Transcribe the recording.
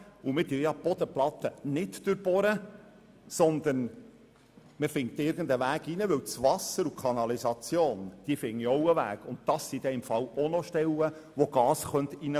Ausserdem wird die Bodenplatte nicht durchbohrt, sondern man findet – wie das Wasser und die Kanalisation – irgendeinen Weg hinein, wobei auch über diese Stellen Gas hineinströmen könnte.